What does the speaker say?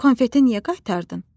Konfeti niyə qaytardın?